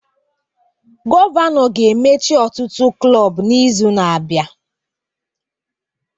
Gọvanọ ga-emechi ọtụtụ klọb n'izu na-abịa